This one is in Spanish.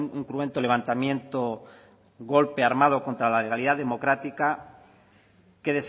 un cruento levantamiento golpe armado contra la realidad democrática que